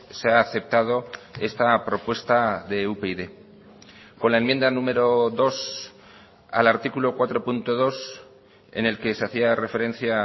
se ha aceptado esta propuesta de upyd con la enmienda número dos al artículo cuatro punto dos en el que se hacía referencia